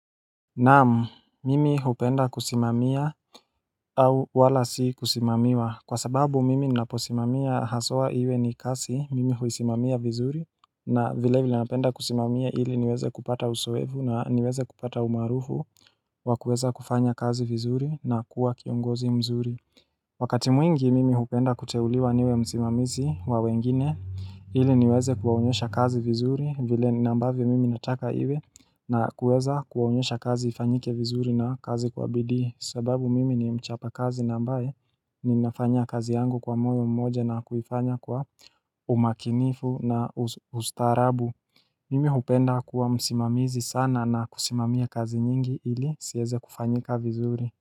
Naam mimi hupenda kusimamia. Au wala si kusimamiwa kwa sababu mimi naposimamia haswa iwe ni kazi mimi huisimamia vizuri na vilevile napenda kusimamia ili niweze kupata uzoefu na niweze kupata umarufu wa kuweza kufanya kazi vizuri na kuwa kiongozi mzuri Wakati mwingi mimi hupenda kuteuliwa niwe msimamizi wa wengine. Ili niweze kuwaonyesha kazi vizuri vile ambavyo mimi nataka iwe. Na kuweza kuwaonyesha kazi ifanyike vizuri na kazi kwa bidii sababu mimi ni mchapa kazi nambaye. Nina fanya kazi yangu kwa moyo mmoja na kuifanya kwa umakinifu na ustarabu Mimi hupenda kuwa msimamizi sana na kusimamia kazi nyingi ili ziweze kufanyika vizuri.